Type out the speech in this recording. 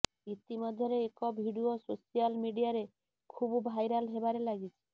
ଇତି ମଧ୍ୟରେ ଏକ ଭିଡିଓ ସୋସିଆଲ ମିଡିଆରେ ଖୁବ୍ ଭାଇରାଲ ହେବାରେ ଲାଗିଛି